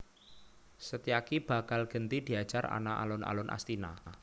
Setyaki bakal genti diajar ana alun alun Astina